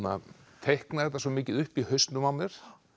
teikna þetta svo mikið upp í hausnum á mér